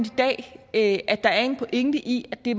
i dag at der er en pointe i at det